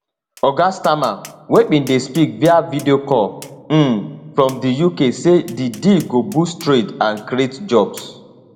oga starmer wey bin dey speak via videocall um from di uk say di deal go boost trade and create jobs